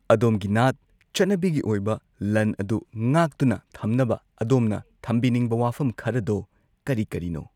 ꯑꯗꯣꯝꯒꯤ ꯅꯥꯠ ꯆꯠꯅꯕꯤꯒꯤ ꯑꯣꯏꯕ ꯂꯟ ꯑꯗꯨ ꯉꯥꯛꯇꯨꯅ ꯊꯝꯅꯕ ꯑꯗꯣꯝꯅ ꯊꯝꯕꯤꯅꯤꯡꯕ ꯋꯥꯐꯝ ꯈꯔꯗꯣ ꯀꯔꯤ ꯀꯔꯤꯅꯣ